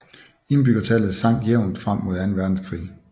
Indbyggertallet sank jævnt frem mod anden verdenskrig